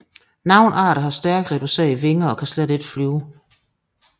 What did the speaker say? Nogle arter har stærkt reducerede vinger og kan ikke flyve